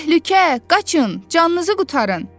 Təhlükə! Qaçın! Canınızı qurtarın!